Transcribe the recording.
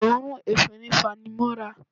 Òórùn efinrin fanimọ́ra